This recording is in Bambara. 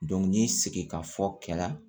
n ye segin ka fɔ kɛla